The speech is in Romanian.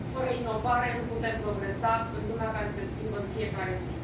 Fără inovare nu putem progresa în lumea care se schimbă în fiecare zi.